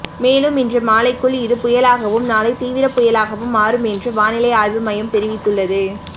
மேலும் இன்று மாலைக்குள் இது புயலாகவும் நாளை தீவிர புயலாகவும் மாறும் என்று வானிலை ஆய்வு மையம் தெரிவித்துள்ளது